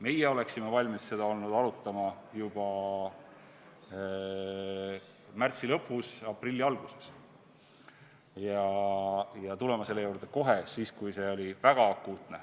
Meie oleksime olnud valmis seda arutama juba märtsi lõpus või aprilli alguses ja oleksime olnud nõus tulema selle juurde kohe, siis, kui see oli väga akuutne.